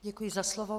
Děkuji za slovo.